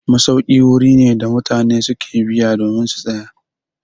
Masauki wuri ne da mutane su ke biya domin su tsaya.